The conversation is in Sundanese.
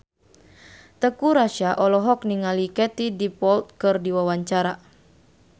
Teuku Rassya olohok ningali Katie Dippold keur diwawancara